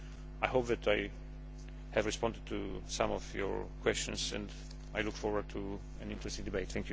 I hope that I have responded to some of your questions and I look forward to an interesting debate.